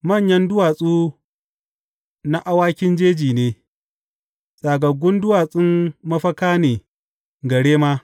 Manyan duwatsu na awakin jeji ne; tsagaggun duwatsun mafaka ne ga rema.